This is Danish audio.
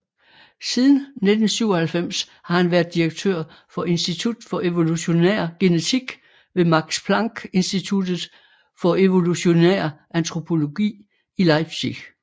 Siden 1997 har han været direktør for Institut for Evolutionær Genetik ved Max Planck Instituttet for Evolutionær Antropologi i Leipzig